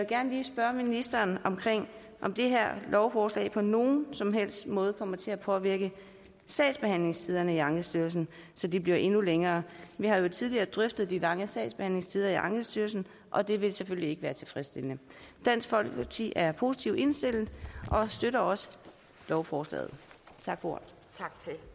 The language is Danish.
gerne lige spørge ministeren om det her lovforslag på nogen som helst måde kommer til at påvirke sagsbehandlingstiderne i ankestyrelsen så de bliver endnu længere vi har jo tidligere drøftet de lange sagsbehandlingstider i ankestyrelsen og det ville selvfølgelig ikke være tilfredsstillende dansk folkeparti er positivt indstillet og støtter også lovforslaget tak for